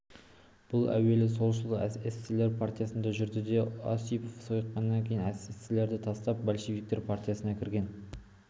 бұл әуелі солшыл-эсерлер партиясында жүрді де осипов сойқанынан кейін эсерлерді тастап большевиктер партиясына кірген